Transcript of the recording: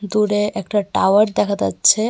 দূরে একটা টাওয়ার দেখা দাচ্ছে ।